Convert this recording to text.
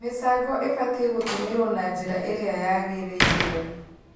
Mĩcango ĩbatii gũtũmĩrwo na njĩra ĩrĩa yagĩrĩirwo